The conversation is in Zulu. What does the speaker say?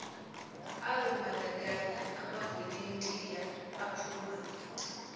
azombandakanya amavolontiya aphuma